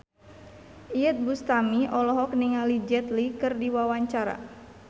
Iyeth Bustami olohok ningali Jet Li keur diwawancara